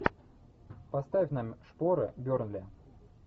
поставь нам шпоры бернли